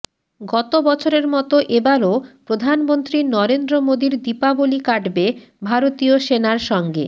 গত বছরের মতো এবারও প্রধানমন্ত্রী নরেন্দ্র মোদির দীপাবলি কাটবে ভারতীয় সেনার সঙ্গে